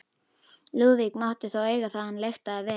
Lúðvík mátti þó eiga það að hann lyktaði vel.